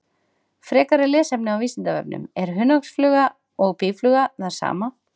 Frekara lesefni á Vísindavefnum: Er hunangsfluga og býfluga það sama?